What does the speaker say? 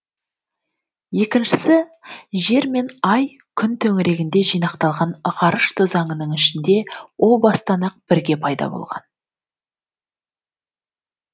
екіншісі жер мен ай күн төңірегіне жинақталған ғарыш тозаңының ішінде о бастан ақ бірге пайда болған